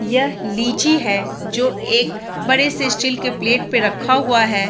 यह लीची है जो एक बड़े से स्टील के प्लेट पे रखा हुआ है।